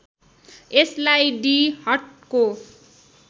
यसलाई डी हटको